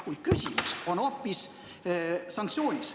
Kuid küsimus on hoopis sanktsioonis.